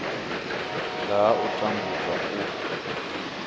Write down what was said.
nga ha u tambudzwa u